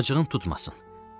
Acığın tutmasın.